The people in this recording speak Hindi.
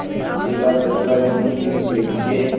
जिला सहकारी संघ लिमिटेड के